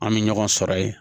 An bɛ ɲɔgɔn sɔrɔ ye